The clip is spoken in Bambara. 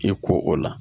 I ko o la